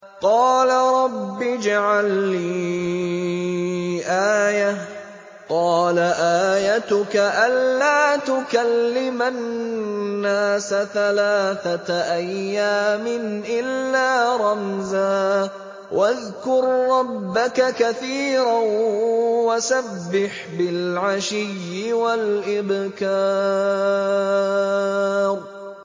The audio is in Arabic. قَالَ رَبِّ اجْعَل لِّي آيَةً ۖ قَالَ آيَتُكَ أَلَّا تُكَلِّمَ النَّاسَ ثَلَاثَةَ أَيَّامٍ إِلَّا رَمْزًا ۗ وَاذْكُر رَّبَّكَ كَثِيرًا وَسَبِّحْ بِالْعَشِيِّ وَالْإِبْكَارِ